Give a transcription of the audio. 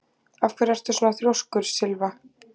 Af hverju ertu svona þrjóskur, Sylva?